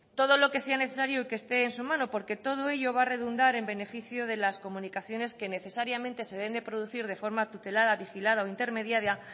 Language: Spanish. todo lo que sea necesario y que este en su mano porque todo ello va a redundar en beneficio de las comunicaciones que necesariamente se deben producir de forma tutelada vigilada o intermediada